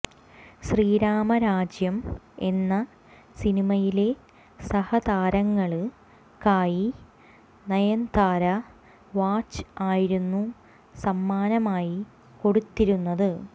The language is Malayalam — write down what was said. ശീരാമ രാജ്യം എന്ന സിനിമയിലെ സഹതാരങ്ങള്ക്കായി നയന്താര വാച്ച് ആയിരുന്നു സമ്മാനമായി കൊടുത്തിരുന്നത്